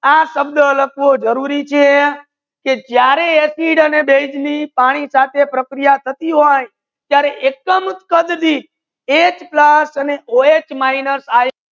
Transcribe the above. આ શબ્દ લાખવો જરુરી છે કે જ્યારે એસિડ અને બેઝ ની પાની સાથે પ્રક્રિયા થા તી હોય ત્યારે એકદમ કડ ધિત H plus O eight minus